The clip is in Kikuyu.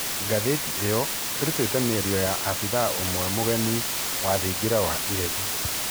Ngathĩti ĩyo ĩrutĩte mĩario ya abithaa ũmwe mũregani wa thingira wa iregi.